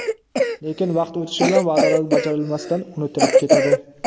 Lekin, vaqt o‘tishi bilan va’dalar bajarilmasdan unutilib ketadi.